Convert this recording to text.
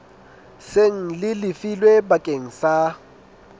seng le lefilwe bakeng sa